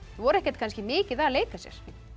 voru ekkert kannski mikið að leika sér